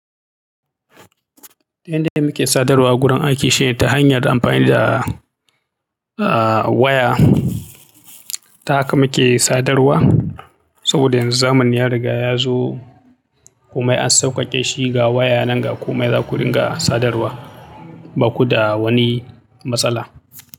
Yanda muke sadarwa a gurin aiki shine ta hanyar amfani da, ah, waya, ta haka muke sadarwa, saboda yanzu zamani ya riga ya zo. Komai an sauƙaƙe shi, ga waya nan ga komai za ku ringa, sadarwa. Baku da wani matsala.